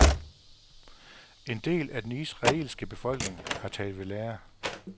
En del af den israelske befolkning, har taget ved lære af